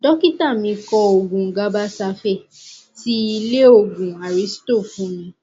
dọkítà mí kọ òògun gabasafe ti ilé òògùn aristo fún mi